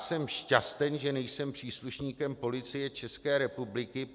Jsem šťasten, že nejsem příslušníkem Policie České republiky.